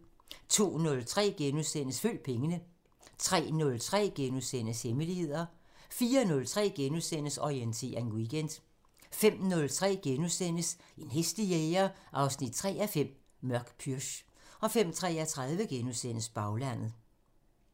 02:03: Følg pengene * 03:03: Hemmeligheder * 04:03: Orientering Weekend * 05:03: En hæslig jæger 3:5 – Mørk pürch * 05:33: Baglandet *